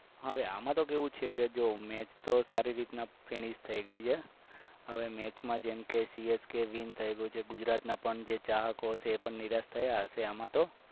હવે આમાં તો કેવું છે કે મેં સારી રીતે finish થઈ ગઈ છે હવે match માં જેમ કે cskwin થઈ ગુજરાતના પણ જે ચાહકો છે નિરાશ થયા હશે